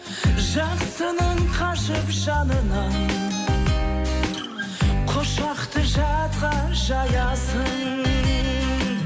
жақсының қашып жанынан құшақты жатқа жаясың